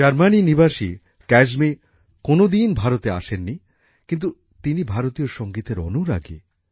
Germany নিবাসী ক্যায়সমি কোনদিন ভারতে আসেননি কিন্ত তিনি ভারতীয় সঙ্গীতের অনুরাগী